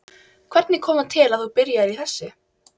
Hvernig kom það til að þú byrjaðir í þessu?